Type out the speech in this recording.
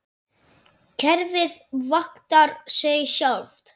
Kerfið vaktar sig sjálft.